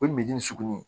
O ye sugunɛ ye